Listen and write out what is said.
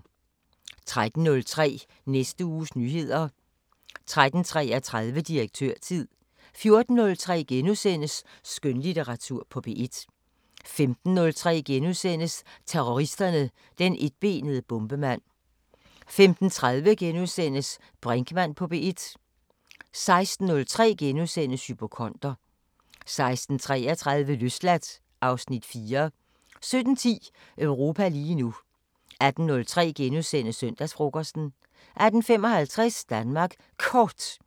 13:03: Næste uges nyheder 13:33: Direktørtid 14:03: Skønlitteratur på P1 * 15:03: Terroristerne: Den etbenede bombemand * 15:30: Brinkmann på P1 * 16:03: Hypokonder * 16:33: Løsladt (Afs. 4) 17:10: Europa lige nu 18:03: Søndagsfrokosten * 18:55: Danmark Kort